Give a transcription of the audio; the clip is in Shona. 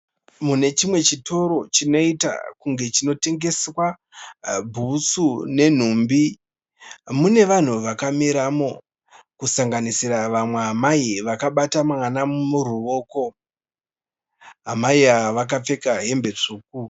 Mune chimwe chitoro chinoita kunge chinotengeswa bhutsu nenhumbi. Mune vanhu vakamiramo kusanganisira vamwe amai vakabata mwana muruvoko, Mai ava vakapfeka hembe tsvuku.